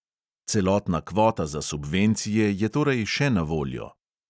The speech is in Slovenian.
Celotna kvota za subvencije je torej še na voljo.